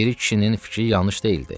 Piri kişinin fikri yanlış deyildi.